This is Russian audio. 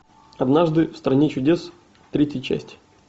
однажды в стране чудес третья часть